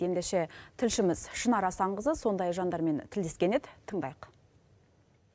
ендеше тілшіміз шынар асанқызы сондай жандармен тілдескен еді тыңдайық